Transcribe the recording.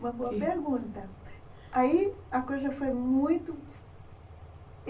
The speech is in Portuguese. Uma boa pergunta. Aí a coisa foi muito